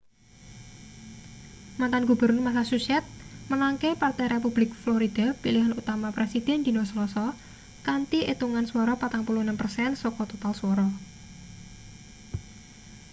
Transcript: mantan gubernur massachusetts menangke partai republik florida pilihan utama presiden dina selasa kanthi etungan swara 46 persen saka total swara